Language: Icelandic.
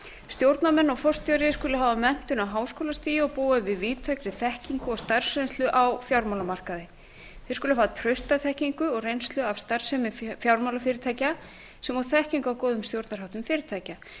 stjórnarmenn og forstjóri skuli hafa menntun á háskólastigi og búa að víðtækri þekkingu og starfsreynslu á fjármálamarkaði þeir skulu hafa trausta þekkingu og reynslu af starfsemi fjármálafyrirtækja sem og þekkingu á góðum stjórnarháttum fyrirtækja